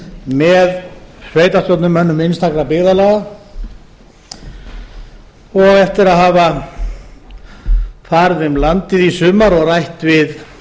með sveitarstjórnarmönnum einstakra byggðalaga og eftir að hafa farið um landið í sumar og rætt við